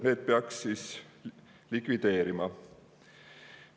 Need peaks likvideerima.